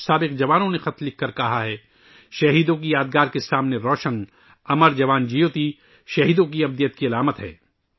کچھ سابق فوجیوں نے مجھے لکھا ہے کہ ''شہیدوں کی یاد کے سامنے جلائی جانے والی 'امر جوان جیوتی' شہیدوں کے امر ہونے کی علامت ہے